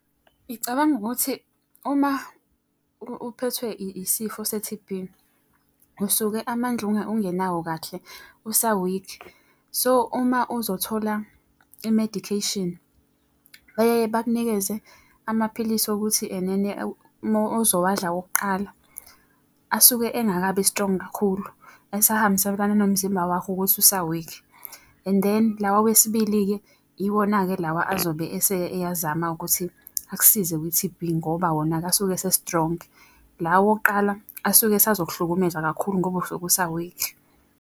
Ngicabanga ukuthi uma uphethwe isifo se-T_B, usuke amandla ungenawo kahle usawikhi. So uma uzothola i-medication bayaye bakunikeze amaphilisi okuthi enene ozowadla awokuqala, asuke engakabi strong kakhulu esahambisanana nomzimba wakho ukuthi usa-weak. And then lawa awesibili-ke iwona-ke lawa azobe ese eyazama-ke ukuthi akusize kwi-T_B ngoba wona-ke asuke ese-strong. Lawa awokuqala asuke esazokuhlukumeza kakhulu ngoba usuke usawikhi.